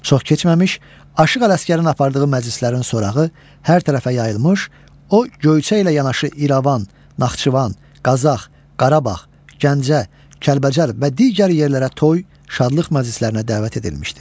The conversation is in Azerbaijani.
Çox keçməmiş, Aşıq Ələsgərin apardığı məclislərin sorağı hər tərəfə yayılmış, o Göyçə ilə yanaşı İrəvan, Naxçıvan, Qazax, Qarabağ, Gəncə, Kəlbəcər və digər yerlərə toy, şadlıq məclislərinə dəvət edilmişdir.